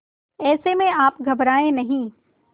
ऐसे में आप घबराएं नहीं